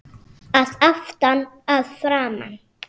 Að aftan, að framan?